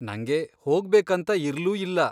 ನಂಗೆ ಹೋಗ್ಬೇಕಂತ ಇರ್ಲೂ ಇಲ್ಲ.